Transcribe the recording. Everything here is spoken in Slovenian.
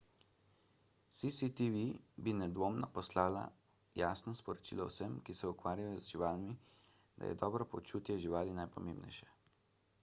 cctv bi nedvomno poslala jasno sporočilo vsem ki se ukvarjajo z živalmi da je dobro počutje živali najpomembnejše